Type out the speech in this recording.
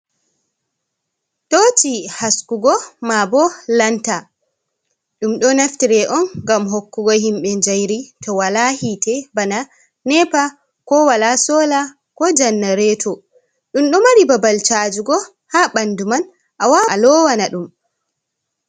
toci haskugo ma bo (lanta). Dum do naftire on ngam hokkugo himbe njairi to wala hite bana nepa, ko wala solar, ko generator. Dum do mari babal cajugo ha bandu man awawan alowana dum.